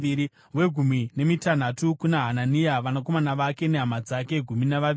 wegumi nemitanhatu kuna Hanania, vanakomana vake nehama dzake—gumi navaviri;